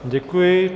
Děkuji.